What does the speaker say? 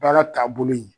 Baara taabolo ye